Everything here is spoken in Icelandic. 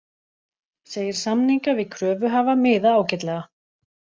Segir samninga við kröfuhafa miða ágætlega